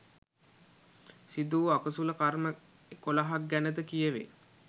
සිදු වූ අකුසල කර්ම එකොළහක් ගැන ද කියවේ.